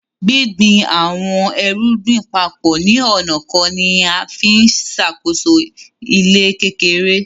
Gbìngbìn awọn èrùgbìn papọ ni onà kan nià ǹfi ǹṣákóso ilẹ̀ kékèrè.